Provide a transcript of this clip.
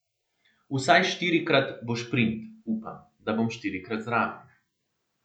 Vsaj štirikrat bo šprint, upam, da bom štirikrat zraven.